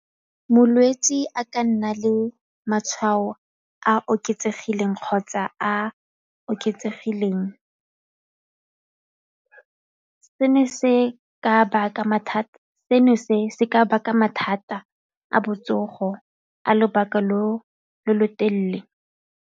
Molwetse a ka nna le matshwao a oketsegileng kgotsa a oketsegileng seno se ka baka mathata a botsogo a lobaka lo lo telele.